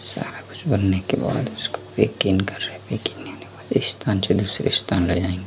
सारा कुछ बनने के बाद